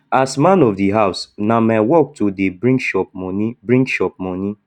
as man of di house na my work to dey bring chop moni bring chop moni